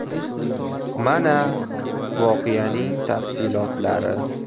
Mana, voqeaning tafsilotlari.